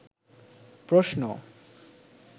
প্রশ্ন